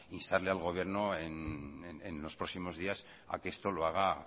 instarle al gobierno en los próximos días a que esto lo haga